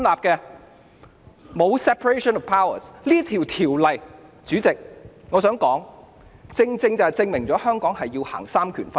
代理主席，我想說《條例草案》正正證明了香港實行的是三權分立。